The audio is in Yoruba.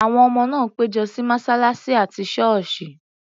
Àwọn ọmọ náà pẹ́ jọ ní mọ́ṣáláṣí àti ṣọ́ọ̀sì.